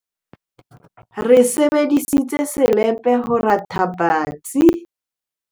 re sebedisitse selepe hore re rathe patsi